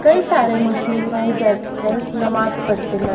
कई सारे मुस्लिम भाई बैठ कर नमाज पढ़ते न--